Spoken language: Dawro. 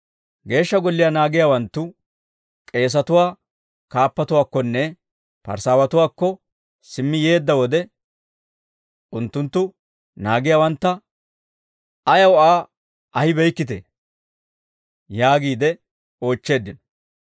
Geeshsha Golliyaa naagiyaawanttu k'eesatuwaa kaappatuwaakkonne Parisaawatuwaakko simmi yeedda wode unttunttu naagiyaawantta, «Ayaw Aa ahibeykkitee?» yaagiide oochcheeddino.